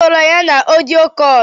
Okporo ya na Ọdio kọ̇lụ?